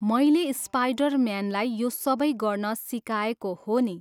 मैले स्पाइडर म्यानलाई यो सबै गर्न सिकाएको हो नि।